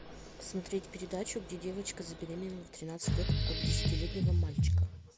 смотреть передачу где девочка забеременела в тринадцать лет от десятилетнего мальчика